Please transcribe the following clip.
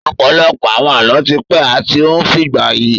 Ọ̀pọ̀lọpọ̀ àwọn Àlọ́ ti pẹ́ àti ó ń fìgbà yi